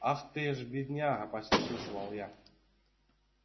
ах ты ж бедняга посочувствовал я